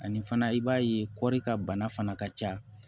Ani fana i b'a ye kɔri ka bana fana ka ca